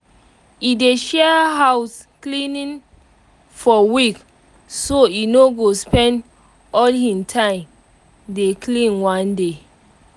e dey share house cleaning for week so e no go spend all hin time dey clean one day